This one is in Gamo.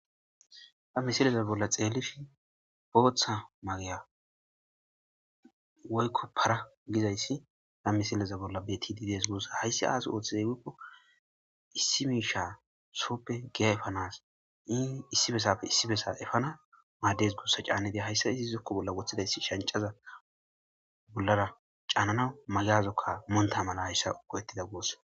ha misileza bolla xeellishin booththa magayeb woykko para gizayssi ha misileza bolla betidi des guussa hayssi aazas ooththize gikko issi miisha sooppe giya efanas iii issi besafe issi bessa efana maaddes gussa caanedi hayssa iza zokko bolla wothidaysi shancaza bollara caanana magaya zokka muntamana hayssa uqo ettida go7ees